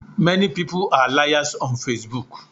Many people are liars on Facebook.